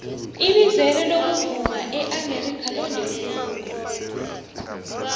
ibizelo lokuvuma eamerika londe khulu